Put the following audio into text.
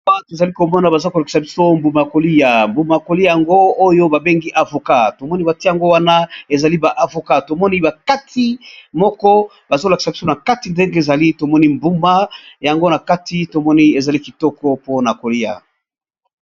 Tozali komona, baza kolekisa biso mbuma ya kolia mbuma yakolia yango oyo babengi avokat tomoni batie yango wana ezali ba avokat, tomoni bakati moko bazolakisa biso na kati ndenge ezali tomoni mbuma yango na kati tomoni ezali kitoko mpona kolia.